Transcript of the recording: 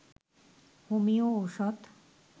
homeo ঔষধ